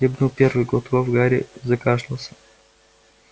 хлебнув первый глоток гарри закашлялся